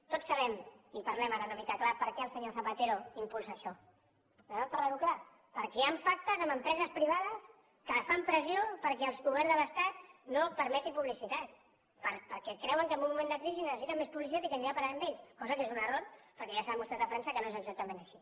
tots sabem i parlem ara una mica clar per què el senyor zapatero impulsa això parlem ho clar perquè hi han pactes amb empreses privades que fan pressió perquè el govern de l’estat no permeti publicitat perquè creuen que en un moment de crisi necessiten més publicitat i que anirà a parar a ells cosa que és un error perquè ja s’ha demostrat a frança que no és exactament així